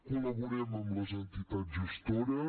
col·laborem amb les entitats gestores